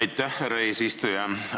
Aitäh, härra eesistuja!